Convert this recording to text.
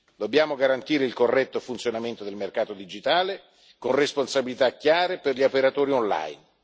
Dobbiamo garantire il corretto funzionamento del mercato digitale con responsabilità chiare per gli operatori online.